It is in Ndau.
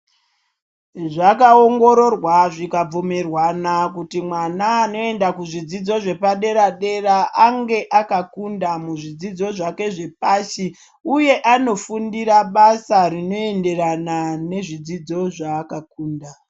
Zvakaongororwa zvikabvumirwana kuti mwana anoenda kuzvidzidzo zvepadera dera ange akakunda muzvidzidzo zvake zvepashi uye anofundira basa rinoenderana nezvidzidzo zva akakunda